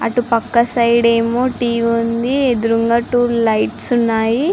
అటుపక్క సైడ్ ఏమో టీవి ఉన్నది ఎదురుగా ఏమో టీవ లైట్స్ ఉన్నాయి.